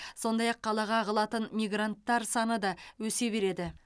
сондай ақ қалаға ағылатын мигранттар саны да өсе береді